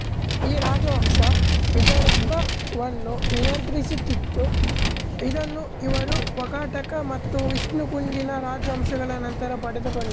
ಈ ರಾಜವಂಶ ವಿದರ್ಭವನ್ನೂ ನಿಯಂತ್ರಿಸುತ್ತಿತ್ತು ಇದನ್ನು ಇವರು ವಾಕಾಟಕ ಮತ್ತು ವಿಷ್ಣುಕುಂದಿನ ರಾಜವಂಶಗಳ ನಂತರ ಪಡೆದುಕೊಂಡರು